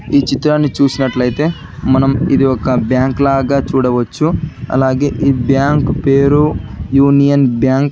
ఈ చిత్రాన్ని చూసినట్లయితే మనం ఇది ఒక బ్యాంక్ లాగా చూడవచ్చు అలాగే ఈ బ్యాంకు పేరు యూనియన్ బ్యాంక్